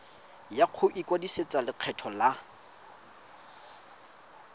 ya go ikwadisetsa lekgetho la